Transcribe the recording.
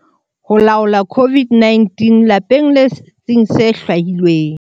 Ho laola COVID-19 - Lapeng le setsing se hlwahilweng.